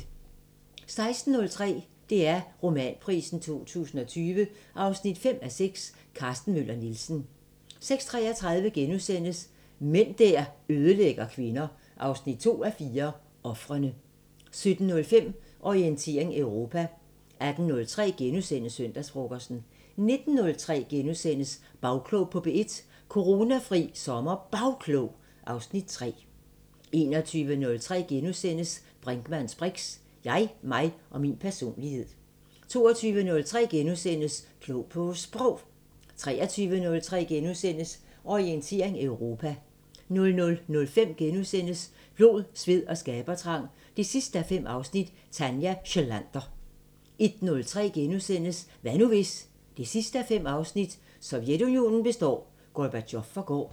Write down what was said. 16:03: DR Romanprisen 2020 5:6 – Carsten Müller Nielsen 16:33: Mænd der ødelægger kvinder 2:4 – Ofrene * 17:05: Orientering Europa 18:03: Søndagsfrokosten * 19:03: Bagklog på P1: Coronafri SommerBagklog (Afs. 3)* 21:03: Brinkmanns briks: Jeg, mig og min personlighed * 22:03: Klog på Sprog * 23:03: Orientering Europa * 00:05: Blod, sved og skabertrang 5:5 – Tanja Schlander * 01:03: Hvad nu hvis...? 5:5 – Sovjetunionen består, Gorbatjov forgår *